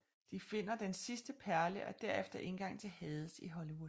De finder den sidste perle og derefter indgangen til Hades i Hollywood